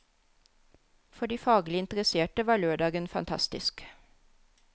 For de faglig interesserte var lørdagen fantastisk.